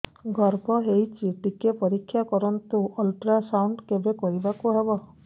ଗର୍ଭ ହେଇଚି ଟିକେ ପରିକ୍ଷା କରନ୍ତୁ ଅଲଟ୍ରାସାଉଣ୍ଡ କେବେ କରିବାକୁ ହବ